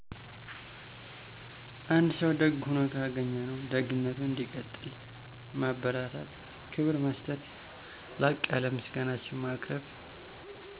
አንድ ሰው ደግ ሆኖ ካገኝነው ደግነቱ እንዲቀጥል ማበርታታት ክብር መሰጠት ላቅ ያለ ምሰጋናችን ማቅርብ....